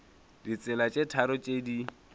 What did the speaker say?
ditsela tše tharo tše di